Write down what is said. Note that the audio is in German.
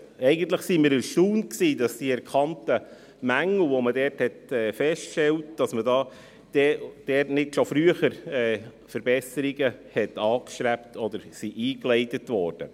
Eigentlich waren wir erstaunt, dass man für die erkannten Mängel, die man dort feststellte, nicht schon früher Verbesserungen angestrebt hat oder solche eingeleitet wurden.